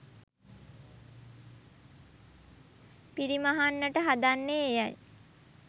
පිරිමහන්නට හදන්නේ එයයි.